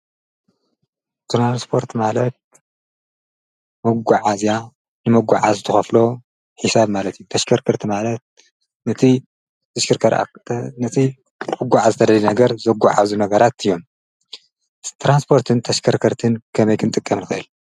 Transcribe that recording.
ትራንስፖርት ማለት መጐዓእዚያ ንመጕዓ ዝተኸፍሎ ኂሳብ ማለቲ ተሽከርከርቲ ማለት ነቲ ዘሽርከርአ ነቲ ሕጕዕ ዝተደሊ ነገር ዘጕ ዓብዙ ነገራት እዮም ተራንስጶርትን ተሽከርከርትን ከመይክን ጥቀምልኽየል።